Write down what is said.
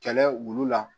Kɛlɛ olu la